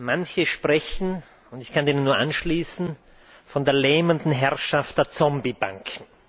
Manche sprechen und ich kann mich dem nur anschließen von der lähmenden Herrschaft der Zombie Banken.